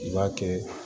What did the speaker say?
I b'a kɛ